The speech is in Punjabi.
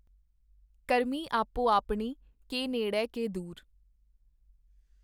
ਕਰਮੀ ਆਪੋ ਆਪਣੀ ਕੇ ਨੇੜੈ ਕੇ ਦੂਰਿ।